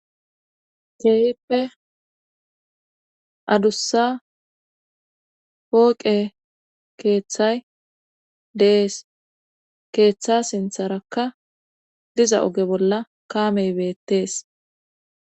keehippe adussa pooqe keeththay dees keeththa sintharakka diza oge bolla kaamey beettees